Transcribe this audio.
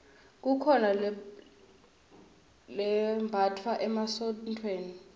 kukhona lembatfwa emasontfweni